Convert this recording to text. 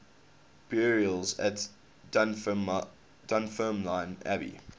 burials at dunfermline abbey